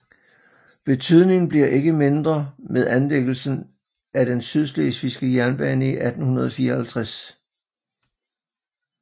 Betydningen bliver ikke mindre med anlægelsen af den Sydslesvigske Jernbane i 1854